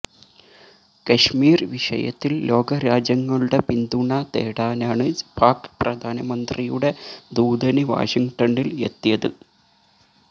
കശ്മിര് വിഷയത്തില് ലോകരാജ്യങ്ങളുടെ പിന്തുണ തേടാനാണ് പാക് പ്രധാനമന്ത്രിയുടെ ദൂതന് വാഷിങ്ടണില് എത്തിയത്